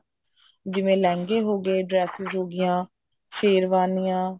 ਜਿਵੇਂ ਲਹਿੰਗੇ ਹੋ ਗਏ dresses ਹੋਗੀਆ ਸ਼ੇਰਵਾਨੀਆ